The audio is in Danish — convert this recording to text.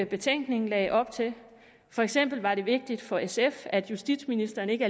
betænkningen lagde op til for eksempel var det vigtigt for sf at justitsministeren ikke